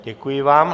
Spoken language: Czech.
Děkuji vám.